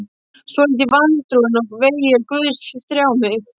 Stoltið, vantrúin og vegir Guðs þjá mig.